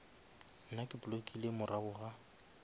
nna ke blockile morago ga